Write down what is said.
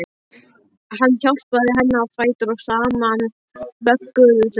Hann hjálpaði henni á fætur og saman vögguðu þau